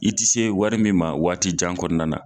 I ti se wari min ma waati jan kɔnɔna na.